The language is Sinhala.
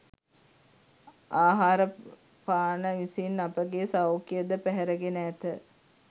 ආහාරපාන විසින් අපගේ සෞඛ්‍යය ද පැහැරගෙන ඇත.